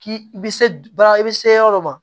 K'i i bɛ se baara i bɛ se yɔrɔ dɔ ma